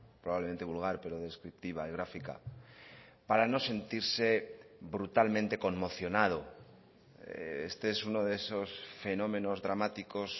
probablemente vulgar pero descriptiva y gráfica para no sentirse brutalmente conmocionado este es uno de esos fenómenos dramáticos